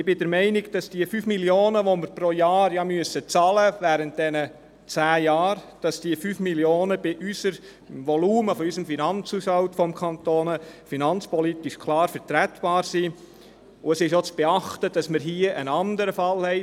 Meines Erachtens sind die 5 Mio. Franken, die wir während dieser zehn Jahren pro Jahr bezahlen müssen, angesichts des Volumens des Finanzhaushalts des Kantons finanzpolitisch klar vertretbar, und es ist auch zu beachten, dass wir hier einen anderen Fall haben.